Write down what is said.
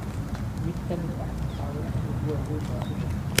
Mid ka mid ah caqabadaha ugu waaweyn waa cudur